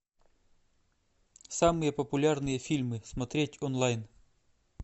самые популярные фильмы смотреть онлайн